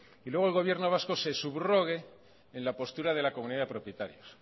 y luego el gobierno vasco se subrogue en la postura de la comunidad de propietarios